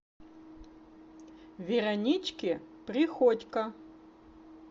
веронички приходько